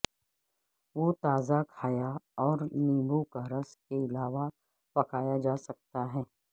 وہ تازہ کھایا اور نیبو کا رس کے علاوہ پکایا جا سکتا ہے